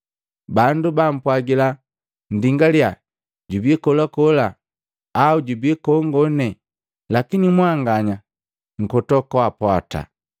Bandu bampwagila, ‘Ndingalya, jubii kolakola!’ Au ‘Jubi kongone!’ Lakini mwanganya nkoto kwaapwata.